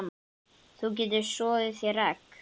Þú getur soðið þér egg